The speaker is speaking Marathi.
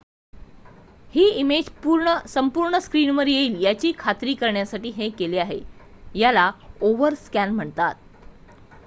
ही इमेज संपूर्ण स्क्रिनवर येईल याची खात्री करण्यासाठी हे केले आहे याला ओव्हरस्कॅन म्हणतात